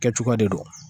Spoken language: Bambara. Kɛcogoya de do